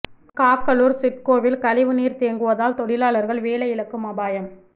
காக்களூா் சிட்கோவில் கழிவு நீா் தேங்குவதால் தொழிலாளா்கள் வேலை இழக்கும் அபாயம்